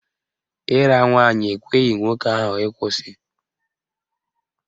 Ịra nwaanyị ekweghị nwoke ahụ ịkwụsị